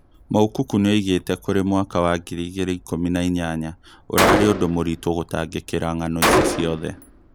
Moukoko nĩoigĩte kũrĩ mwaka wa ngiri igĩrĩ ikumi na inyanya "Ũrarĩ ũndũ mũritũ gũtangĩkĩra ng'ano ici ciothe"